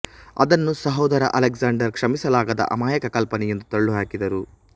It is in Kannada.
ಅದನ್ನು ಸಹೋದರ ಅಲೆಕ್ಸಾಂಡರ್ ಕ್ಷಮಿಸಲಾಗದ ಅಮಾಯಕ ಕಲ್ಪನೆ ಎಂದು ತಳ್ಳಿಹಾಕಿದರು